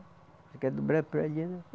Você quer dobrar para ali ela